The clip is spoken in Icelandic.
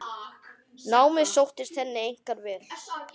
Námið sóttist henni einkar vel.